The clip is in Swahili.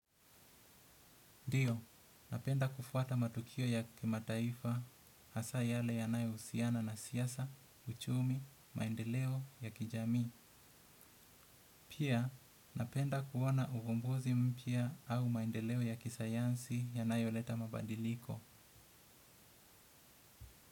Ndiyo, napenda kufuata matukio ya kimataifa hasa yale yanayohusiana na siasa, uchumi, maendeleo ya kijamii. Pia, napenda kuona uvumbuzi mpya au maendeleo ya kisayansi yanayoleta mabadiliko.